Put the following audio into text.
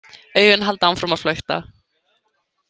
Augun halda áfram að flökta.